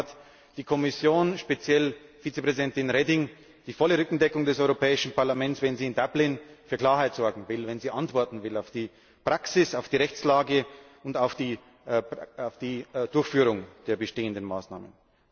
Deswegen hat die Kommission, speziell Vizepräsidentin Reding, die volle Rückendeckung des Europäischen Parlaments, wenn sie in Dublin für Klarheit sorgen will, wenn sie antworten will auf die Praxis, auf die Rechtslage und auf die Durchführung der bestehenden Maßnahmen.